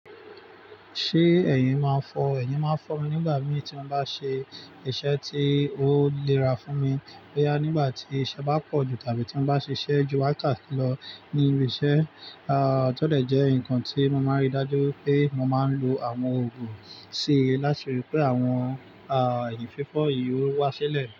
Ṣé ẹ̀yìn máa ń fọ, ẹ̀yin máa ń fọ́ mi nígbà míì tí mo bá ṣe iṣẹ́ tí ó léra fún mi. Bóyá nígbà tí iṣẹ́ bá pọ̀ jù tàbí tí mo bá ṣe iṣẹ́ ju wákàtí lọ ní ibi iṣẹ́. Tó dẹ̀ jẹ́ nǹkan tí mo máa ń ri dájú pé mo máa ń lo àwọn òògùn síi láti ri pé àwọn ẹ̀yìn fífọ́ yìí ó wá sílẹ̀.